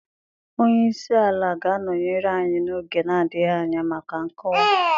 Onye isi ala ga-anọnyere anyị n'oge na-adịghị anya maka nkọwa.